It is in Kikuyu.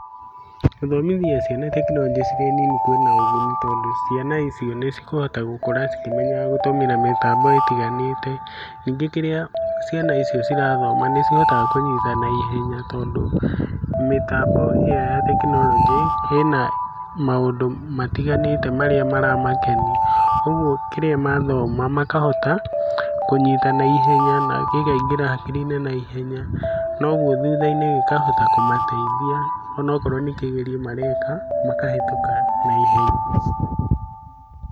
Gũthomithia ciana tekinoronjĩ cirĩ nini kwĩna ũguni tondũ ciana icio nĩ cigũkũra cikĩmenyaga gũtũmĩra mĩtambo ĩtiganĩte, ningĩ kĩrĩa ciana icio cirathoma nĩ cihotaga kũnyita na ihenya tondũ mĩtambo ĩyo ya tekinoronjĩ ĩna maũndũ matiganĩte marĩa marakenia ũguo kĩrĩa mathoma makahota kũnyita na ihenya na ikaingĩra hakirinĩ na ihenya kwoguo thutha-inĩ gĩkahota kũmateithia onakorwo nĩ kĩgeranio mareka makahetũka na ihenya.